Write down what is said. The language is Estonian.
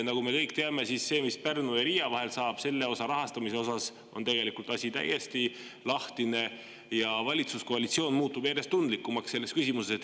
Nagu me kõik teame, Pärnu ja Riia vahelise osa rahastamine on tegelikult täiesti lahtine ja valitsuskoalitsioon muutub selles küsimuses järjest tundlikumaks.